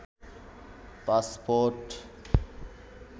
passport